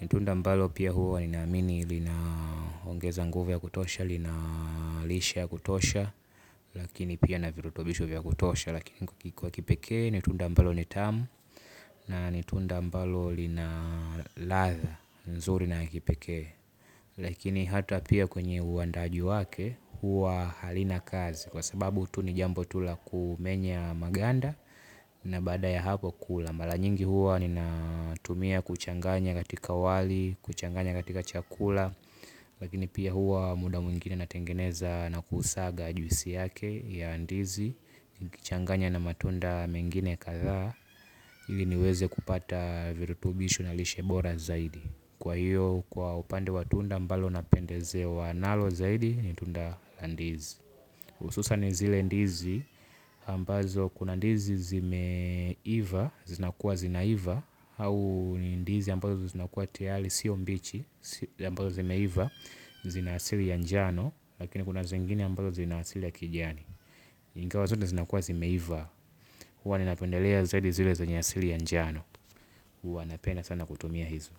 Ni tunda mbalo pia huwa ninaamini linaongeza nguvu ya kutosha, lina lishe ya kutosha. Lakini pia na virutubisho vya kutosha. Lakini kwa kipekee ni tunda ambalo ni tamu. Na ni tunda ambalo lina ladha, nzuri na ya kipekee. Lakini hata pia kwenye uandaaji wake huwa halina kazi. Kwa sababu tu ni jambo tu la kumenya maganda na baada ya hapo kula. Mara nyingi huwa ninatumia kuchanganya katika wali, kuchanganya katika chakula. Lakini pia huwa muda mwingine natengeneza na kuusaga juisi yake ya ndizi nikichanganya na matunda mengine kadhaa ili niweze kupata virutubishi na lishe bora zaidi. Kwa hiyo kwa upande wa tunda ambalo napendezewa nalo zaidi ni tunda la ndizi hususan zile ndizi ambazo kuna ndizi zimeiva zinakuwa zinaiva au ni ndizi ambazo zinakuwa tayari sio mbichi hizi ambazo zimeiva zina asili ya njano lakini kuna zingine ambazo zinaasili ya kijani. Ingawa zote zinakuwa zimeiva huwa ninapendelea zaidi zile zenye asili ya njano huwa napenda sana kutumia hizo.